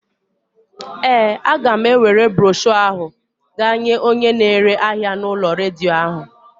Ee, a ga m ewere broshọ ahụ gaa nye onye na-ere ahịa u'ulo redio ahụ.